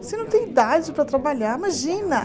Você não tem idade para trabalhar, imagina.